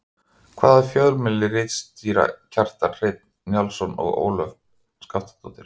Hvaða fjölmiðli ritstýra Kjartan Hreinn Njálsson og Ólöf Skaftadóttir?